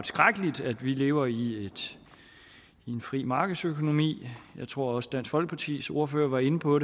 skrækkeligt at vi lever i en fri markedsøkonomi jeg tror også dansk folkepartis ordfører var inde på